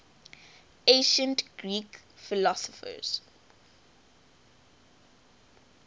ancient greek philosophers